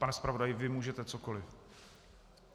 Pane zpravodaji, vy můžete cokoli.